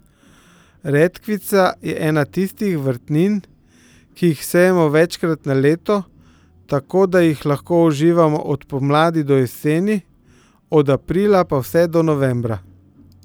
Redkvica je ena tistih vrtnin, ki jih sejemo večkrat na leto, tako da jih lahko uživamo od pomladi do jeseni, od aprila pa vse do novembra.